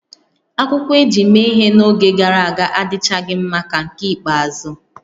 Akwụkwọ e ji mee ihe n'oge gara aga adịchaghị mma ka nke ikpeazụ